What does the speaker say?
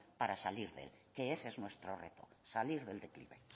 para salir de él que ese es nuestro reto salir del declive